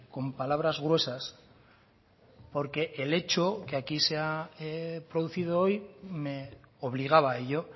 con palabras gruesas porque el hecho que aquí se ha producido hoy me obligaba a ello